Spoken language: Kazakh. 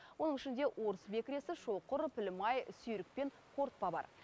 оның ішінде орыс бекіресі шоқыр пілмай сүйрік пен қорытпа бар